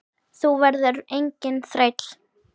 Þú verður enginn þræll.